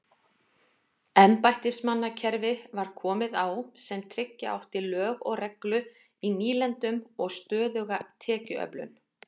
Embættismannakerfi var komið á sem tryggja átti lög og reglu í nýlendunum og stöðuga tekjuöflun.